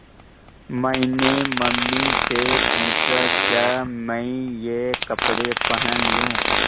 मैंने मम्मी से पूछा क्या मैं ये कपड़े पहन लूँ